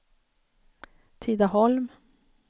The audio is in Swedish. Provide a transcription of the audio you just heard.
Tidaholm